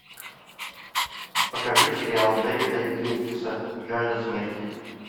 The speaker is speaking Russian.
покажи сериал дэвида йейтса жажда смерти